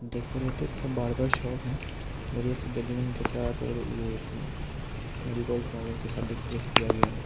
Decorated सा barber का shop है बढ़िया सा बैलून के साथ और ये मेरीगोल्ड फ्लावर के साथ डेकोरेट किया गया है।